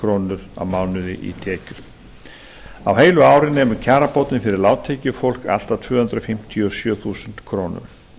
krónur á mánuði í tekjur á heilu ári nemur kjarabótin fyrir lágtekjufólk allt að tvö hundruð fimmtíu og sjö þúsund krónur